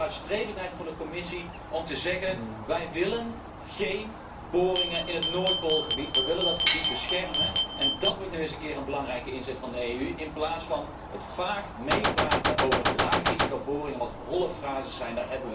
Waar is een keer de vooruitstrevendheid van de Commissie om te zeggen wij willen geen boringen in het Noordpoolgebied, wij willen dat gebied beschermen en dat wordt nu eens een keer een belangrijke inzet van de EU in plaats van het vaag meepraten over boringen met een laag risico hetgeen holle frases zijn.